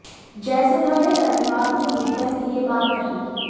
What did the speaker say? जयसुधा ने रविवार को मीडिया से यह बात कही